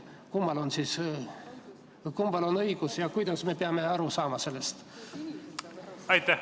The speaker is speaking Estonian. Kummal on siis õigus ja kuidas me peame sellest aru saama?